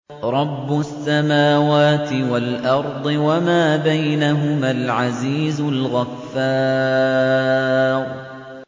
رَبُّ السَّمَاوَاتِ وَالْأَرْضِ وَمَا بَيْنَهُمَا الْعَزِيزُ الْغَفَّارُ